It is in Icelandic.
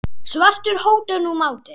svartur hótar nú máti.